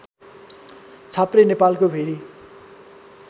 छाप्रे नेपालको भेरी